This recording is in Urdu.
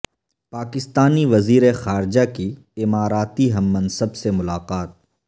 پاکستانی وزیر خارجہ کی اماراتی ہم منصب سے ملاقات